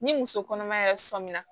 Ni muso kɔnɔma yɛrɛ sɔmi na